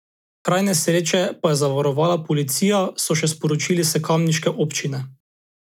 Kraj nesreče pa je zavarovala policija, so še sporočili s kamniške občine.